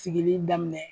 Sigili daminɛ